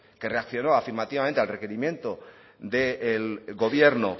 que reaccionó afirmativamente al requerimiento del gobierno